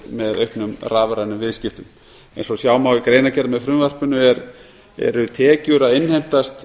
með auknum rafrænum viðskiptum eins og sjá má í greinargerð með frumvarpinu innheimtast